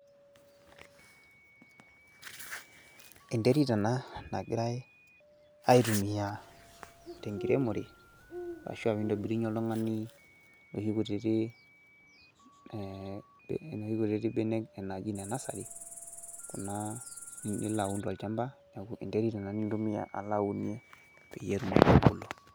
eneterit ena nagirae aitumia tenkiremore, ashu naitobirie oltungani enoshi terit naji ene nursery naitumiae tolchampa, neeku enterit ena nilo aunie.